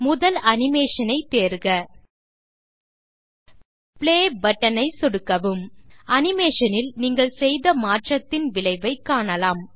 முதல் அனிமேஷன் ஐ தேர்க பிளே பட்டன் ஐ சொடுக்கவும் அனிமேஷன் இல் நீங்கள் செய்த மாற்றத்தின் விளைவை காணலாம்